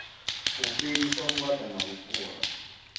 u fhelisa vhuaḓa na vhufhura